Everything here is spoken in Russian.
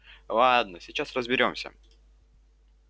ладно сейчас разберёмся